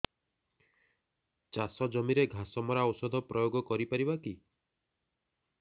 ଚାଷ ଜମିରେ ଘାସ ମରା ଔଷଧ ପ୍ରୟୋଗ କରି ପାରିବା କି